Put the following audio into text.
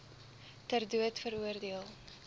ter dood veroordeel